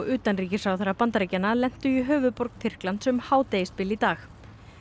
utanríkisráðherra Bandaríkjanna lentu í höfuðborg Tyrklands um hádegisbil í dag